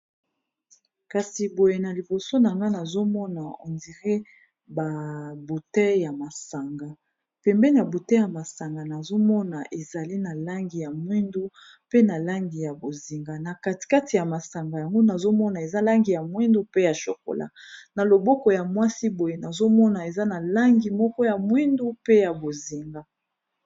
kasi boye na liboso nanga nazomona endire babute ya masanga pembe ya bute ya masanga nazomona ezali na langi ya mwindu pe na langi ya bozinga na katikati ya masanga yango nazomona eza langi ya mwindu pe ya chokola na loboko ya mwasi boye nazomona eza na langi moko ya mwindu pe ya bozinga